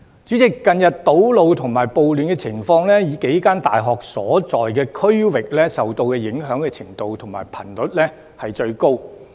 主席，近日堵路和暴亂的情況，以數間大學所在的區域受到影響的程度和頻率均最高。